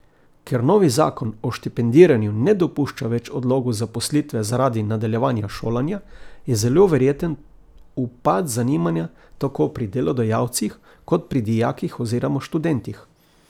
Ker novi zakon o štipendiranju ne dopušča več odlogov zaposlitve zaradi nadaljevanja šolanja, je zelo verjeten upad zanimanja tako pri delodajalcih kot pri dijakih oziroma študentih.